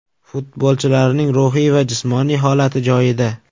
Futbolchilarning ruhiy va jismoniy holati joyida”.